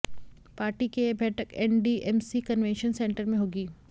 party के ये बैठक एनडीएमसी कन्वेंशन सेंटर में होगी